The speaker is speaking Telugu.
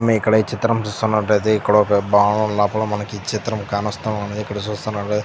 మే ఇక్కడ ఈ చిత్రం చూస్తున్నట్టయితే ఇక్కడొక భవనం ఉన్నపుడు మనకి ఈ చిత్రం కానోస్తా ఉన్నదీ ఇక్కడ చూస్తున్నటైతే--